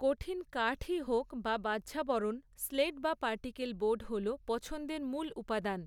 কঠিন কাঠই হোক বা ব্যহ্যাবরণ, স্লেট বা পার্টিকেল বোর্ড হল, পছন্দের মূল উপাদান।